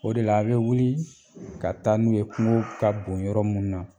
O de la a' bɛ wuli ka taa n'u ye kungo ka bon yɔrɔ mun na